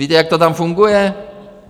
Víte, jak to tam funguje?